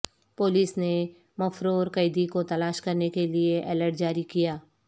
police نے مفرور قیدی کو تلاش کرنے کیلئے الرٹ جاری کیا